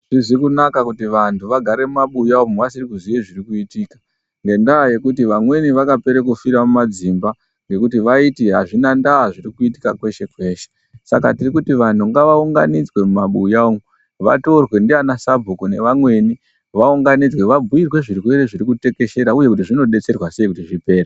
Azvizi kunaka kuti vanthu vagare mumabuya umwu vasiri kuziye zviri kuitika nhenyaa yekuti vamweni vakaperera kufira mumadzimba ngekuti vaiti azvina ndaa zviri kuitika kweshe kweshe saka tiri kuti vanthu ngavaunganidzwe mumabuya umu vatorwe ndiana sabhuku nevamweni vaunganidzwe vabhiirwe zvirwere zviri kutekeshera uye kuti zvinodetserwa sei kuti zvipere.